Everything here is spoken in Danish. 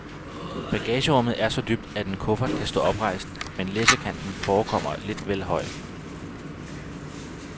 Bagagerummet er så dybt, at en kuffert kan stå oprejst, men læssekanten forekommer lidt vel høj.